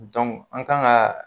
an kan ka